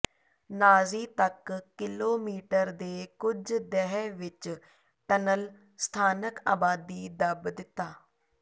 ਨਾਜ਼ੀ ਤੱਕ ਕਿਲੋਮੀਟਰ ਦੇ ਕੁਝ ਦਹਿ ਵਿਚ ਟਨਲ ਸਥਾਨਕ ਆਬਾਦੀ ਦੱਬ ਦਿੱਤਾ